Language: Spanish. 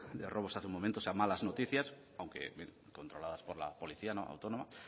de robos hace un momento o sea malas noticias aunque bien controladas por la policía autónoma